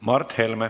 Aitäh!